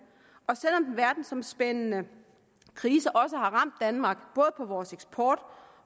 og selv om den verdensomspændende krise også har ramt danmark på vores eksport